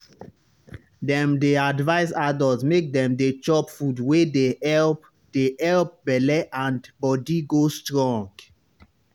dem dey advise adults make dem dey chop food wey dey help dey help belle and body go strong.